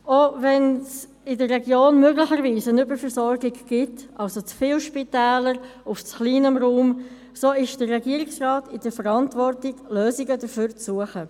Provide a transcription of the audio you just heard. Auch wenn es in der Region möglicherweise eine Überversorgung gibt, also zu viele Spitäler auf zu kleinem Raum, so steht der Regierungsrat in der Verantwortung, Lösungen dafür zu suchen.